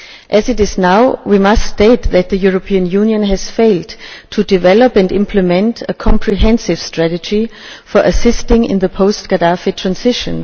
As things stand now, we must state that the European Union has failed to develop and implement a comprehensive strategy for assisting in the post Gadaffi transition.